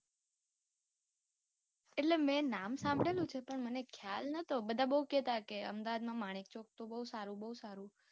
એટલે મેં નામ સાંભળેલુ છે પણ મને ખ્યાલ નતો બધા બઉ કેહતા કે અમદાવાદ નું માણેક ચોક તો બઉ સારું, બઉ સારું.